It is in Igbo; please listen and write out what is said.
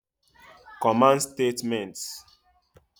Command Statements